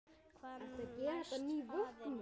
Hvað næst, faðir minn?